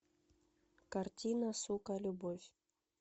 картина сука любовь